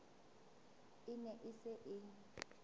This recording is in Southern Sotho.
e ne e se e